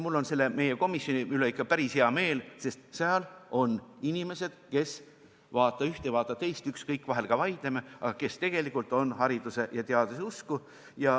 Mul on meie komisjoni üle ikka päris hea meel, sest seal on inimesed, kes – vaata ühte, vaata teist, ükskõik, vahel ka vaidleme – tegelikult on hariduse ja teaduse usku.